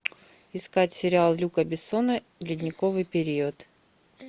искать сериал люка бессона ледниковый период